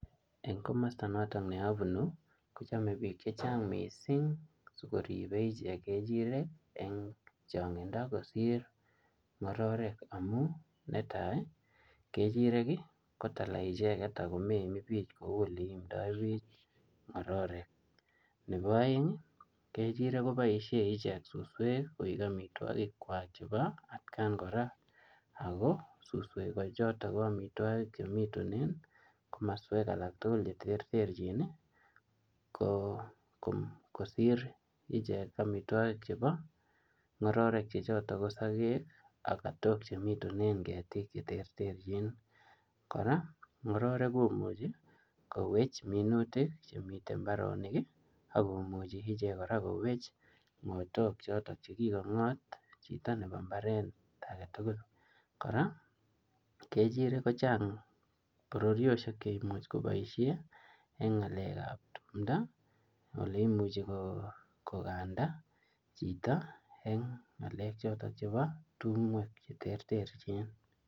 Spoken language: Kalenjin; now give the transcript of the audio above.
Eng komasta notok ne abunu, kochame piik chechang mising sikoribe ichek kechirek eng changindo kosir ngororek, amu netai ii, kechirek ii ko tala icheket akomeimipich kou oleimdo piich ngororek, nebo aeng ii kechirek koboisie ichek suswek koek amitwogikwak chebo atkan kora, ako suswe ko chotok ko amitwogik chemitunen komoswek alak tugul che terterchin ii, ko kosir ichek amitwogik chebo ngororek che chotok ko sokek ak katok chemitunen ketik che terterchin, kora ngororek komuchi kowech minutik chemite mbaronik ii, akomuchi ichek kora kowech ngotok chotok che kikongot chito nebo mbaret ake tugul, kora kechirek kochang bororiosiek cheimuch koboisie eng ngalekab tumdo oleimuchi ko kanda chito eng ngalek chotok chebo tumwek che terterchin.